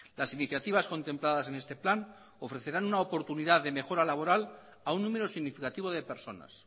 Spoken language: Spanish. las iniciativas contempladas en este plan ofrecerán una oportunidad de mejora laboral a un número significativo de personas